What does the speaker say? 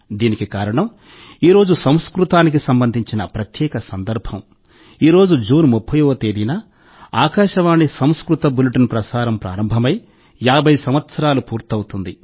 దీనికి కారణం ఈరోజు సంస్కృతానికి సంబంధించిన ప్రత్యేక సందర్భం ఈరోజు జూన్ 30వ తేదీన ఆకాశవాణి సంస్కృత బులెటిన్ ప్రసారం ప్రారంభమై 50 సంవత్సరాలు పూర్తవుతోంది